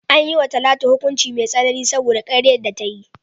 An yi wa Talatu hukunci mai tsanani saboda karyar da ta yi.